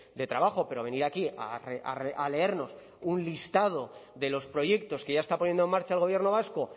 de trabajo pero venir aquí a leernos un listado de los proyectos que ya está poniendo en marcha el gobierno vasco